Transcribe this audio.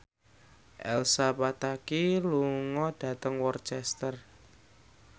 Elsa Pataky lunga dhateng Worcester